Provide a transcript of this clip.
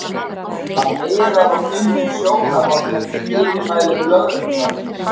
Hann miðar og finnur sjónarhorn eftir fyrirmælum lögreglumannsins.